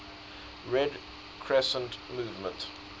red crescent movement